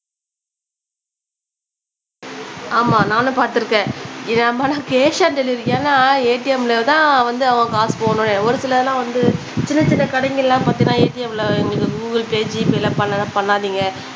ஆமா நானும் பாத்துருக்கேன் இத நம்ம கேஷ் ஆன் டெலிவரி எல்லாம் ஏடிஎம்ல தான் வந்து அவன் காசு போடணும் ஒரு சிலதுலாம் வந்து சின்ன சின்ன கடைங்களலாம் பாத்திங்கனா ஏடிஎம்ல கூகுள்ல ஜிபேல பண்ணனும்னா பண்ணாதிங்க